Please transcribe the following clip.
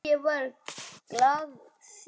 Var það glasið?